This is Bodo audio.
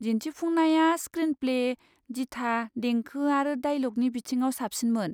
दिन्थिफुंनाया स्क्रिनप्ले, दिथा, देंखो आरो दाइलगनि बिथिङाव साबसिनमोन।